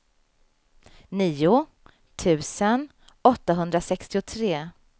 nio tusen åttahundrasextiotre